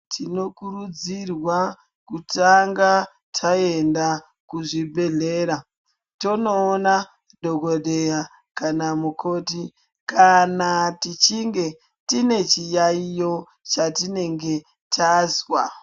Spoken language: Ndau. Tinokurudzirwa kutanga taenda kuzvibhedhlera tonoona dhokodheya kana mukoti kana tichinge tine chiyaiyo chatinenge tazwa.